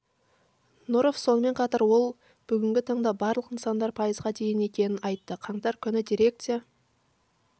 нұров сонымен қатар ол бүгінгі таңда барлық нысандар пайызға дайын екенін айтты қаңтар күні дирекция